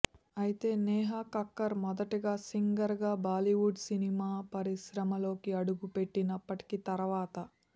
అయితే నేహా కక్కర్ మొదటగా సింగర్ గా బాలీవుడ్ సినీ పరిశ్రమలోకిఅడుగు పెట్టినప్పటికీ తర్వాత